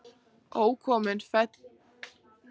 Ókominn féll ég af efsta þrepi